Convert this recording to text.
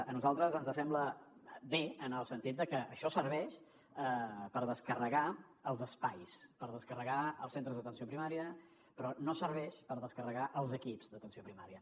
a nosaltres ens sembla bé en el sentit de que això serveix per descarregar els espais per descarregar els centres d’atenció primària però no serveix per descarregar els equips d’atenció primària